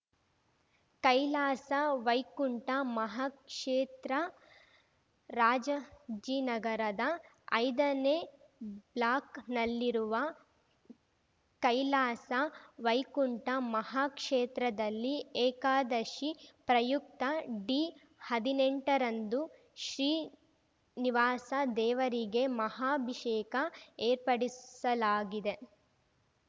ಕೈಲಾಸ ವೈಕುಂಠ ಮಹಾಕ್ಷೇತ್ರ ರಾಜಾಜಿನಗರದ ಐದನೇ ಬ್ಲಾಕ್‌ನಲ್ಲಿರುವ ಕೈಲಾಸ ವೈಕುಂಠ ಮಹಾಕ್ಷೇತ್ರದಲ್ಲಿ ಏಕಾದಶಿ ಪ್ರಯುಕ್ತ ಡಿಹದಿನೆಂಟರಂದು ಶ್ರೀನಿವಾಸ ದೇವರಿಗೆ ಮಹಾಭಿಷೇಕ ಏರ್ಪಡಿಸಲಾಗಿದೆ